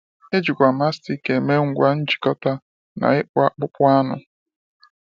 E jikwa Mastic eme ngwa njikọta na n’ịkpụ akpụkpọ anụ.